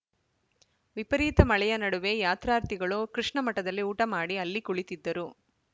ವಿಪರೀತ ಮಳೆಯ ನಡುವೆ ಯಾತ್ರಾರ್ಥಿಗಳು ಕೃಷ್ಣ ಮಠದಲ್ಲಿ ಊಟ ಮಾಡಿ ಅಲ್ಲಿ ಕುಳಿತಿದ್ದರು